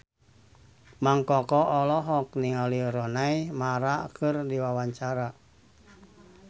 Mang Koko olohok ningali Rooney Mara keur diwawancara